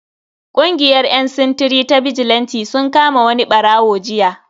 Kungiyar yan sintiri ta bijilanti sun kama wani barawo jiya.